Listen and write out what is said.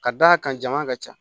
Ka d'a kan jama ka ca